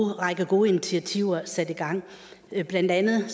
række gode initiativer sat i gang blandt andet med